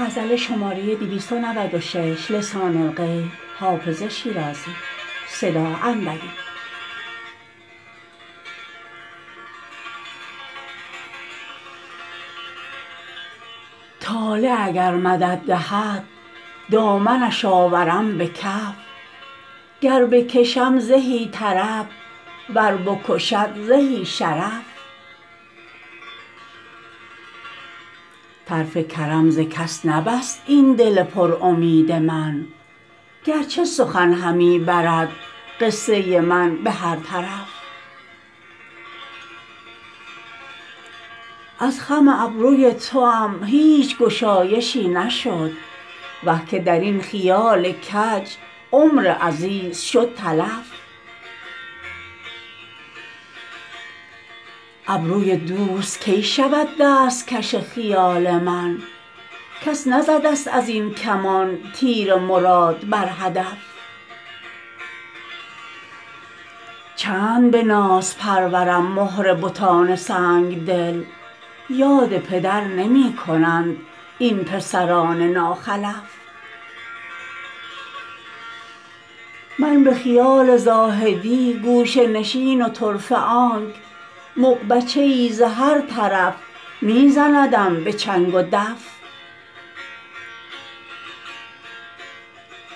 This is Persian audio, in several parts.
طالع اگر مدد دهد دامنش آورم به کف گر بکشم زهی طرب ور بکشد زهی شرف طرف کرم ز کس نبست این دل پر امید من گر چه سخن همی برد قصه من به هر طرف از خم ابروی توام هیچ گشایشی نشد وه که در این خیال کج عمر عزیز شد تلف ابروی دوست کی شود دست کش خیال من کس نزده ست از این کمان تیر مراد بر هدف چند به ناز پرورم مهر بتان سنگ دل یاد پدر نمی کنند این پسران ناخلف من به خیال زاهدی گوشه نشین و طرفه آنک مغبچه ای ز هر طرف می زندم به چنگ و دف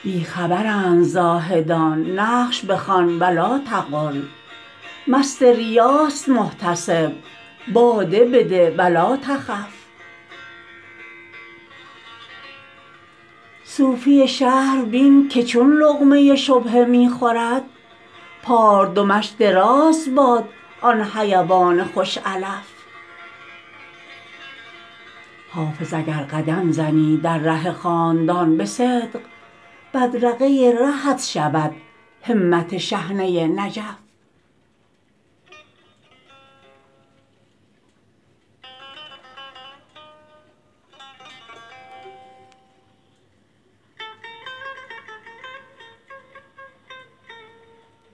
بی خبرند زاهدان نقش بخوان و لاتقل مست ریاست محتسب باده بده و لاتخف صوفی شهر بین که چون لقمه شبهه می خورد پاردمش دراز باد آن حیوان خوش علف حافظ اگر قدم زنی در ره خاندان به صدق بدرقه رهت شود همت شحنه نجف